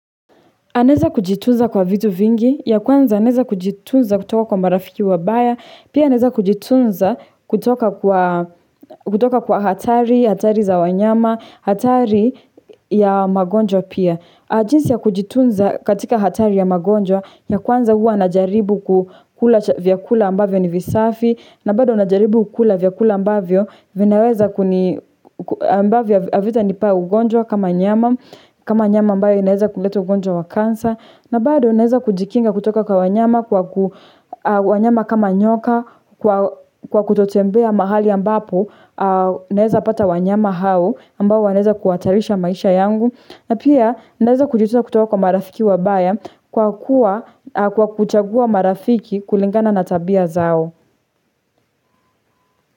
Anaweza kujitunza kwa vitu vingi, ya kwanza anaweza kujitunza kutoka kwa marafiki wabaya, pia anaweza kujitunza kutoka kwa hatari, hatari za wanyama, hatari ya magonjwa pia. Jinsi ya kujitunza katika hatari ya magonjwa ya kwanza huwa najaribu kukula vyakula ambavyo ni visafi na bado najaribu kula vyakula ambavyo vinaweza kuni ambavyo havitanipa ugonjwa kama nyama kama nyama ambayo inaweza kuleta ugonjwa wa cancer na bado naweza kujikinga kutoka kwa wanyama kwa wanyama kama nyoka kwa kutotembea mahali ambapo naweza pata wanyama hao ambao wanaweza kuhatarisha maisha yangu na pia naweza kujitunza kutoka kwa marafiki wabaya kwa kuchagua marafiki kulingana na tabia zao.